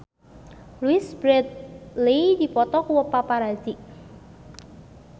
Louise Brealey dipoto ku paparazi